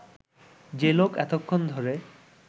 যে লোক এতক্ষণ ধরে